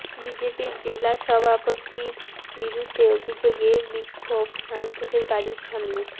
বিজেপির জেলা সভাপতির বিরুদ্ধে অভিযোগে বিক্ষোভ সাংসদের বাড়ির সামনে